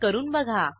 करून बघा